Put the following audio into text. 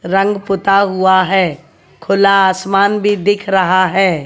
रंग पुता हुआ है खुला आसमान भी दिख रहा है।